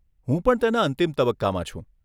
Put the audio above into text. હું પણ તેના અંતિમ તબક્કામાં છું.